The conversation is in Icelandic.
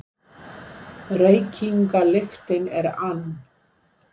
Reykingalyktin er ann